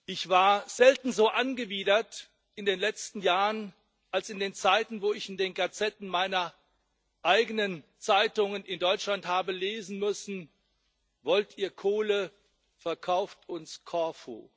Ich war selten so angewidert in den letzten Jahren wie in den Zeiten, wo ich in den Gazetten meiner eigenen Zeitungen in Deutschland habe lesen müssen Wollt ihr Kohle, verkauft uns Korfu.